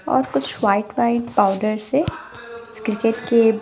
और कुछ white white powder से क्रिकेट के--